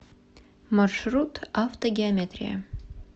маршрут автогеометрия